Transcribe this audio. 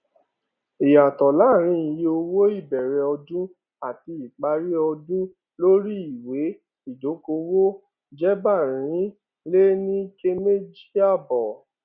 ìyàtọ láàárín iye owó ìbẹrẹ ọdún àti ìparí ọdún lórí ìwé ìdókòwò jẹẹgbàárìnléníọkẹméjìàbọ